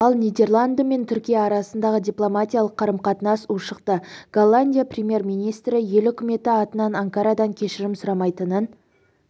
ал нидерланды мен түркия арасындағы дипломатиялық қарым-қатынас ушықты голландия премьер-министрі ел үкіметі атынан анкарадан кешірім сұрамайтынын